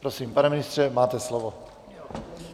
Prosím, pane ministře, máte slovo.